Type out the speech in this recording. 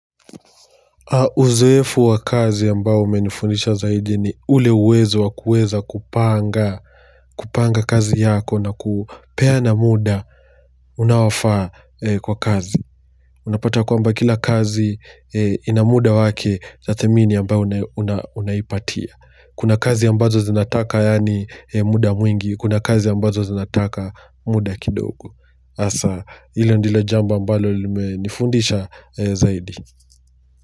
Uzoefu wa kazi ambao umenifundisha zaidi ni ule uwezo wa kueza kupanga kupanga kazi yako na kupea na muda unaofaa kwa kazi. Unapata kwamba kila kazi ina muda wake na thamini ambayo unaipatia. Kuna kazi ambazo zinataka yaani muda mwingi, kuna kazi ambazo zinataka muda kidogo. Hasa hilo ndilo jambo ambalo limenifundisha zaidi.